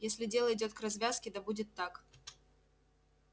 если дело идёт к развязке да будет так